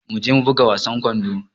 Mu je mu buga wasan kwando.